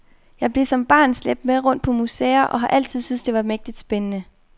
Jeg blev som barn slæbt med rundt på museer, og har altid syntes det var mægtig spændende.